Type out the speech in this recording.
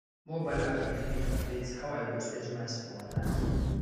mobile app dey help me calculate how i go space maize for my land